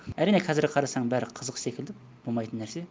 әрине қазір қарасам бәрі қызық секілді болмайтын нәрсе